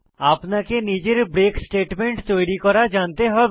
আপনাকে নিজের break statement তৈরী করা জানতে হবে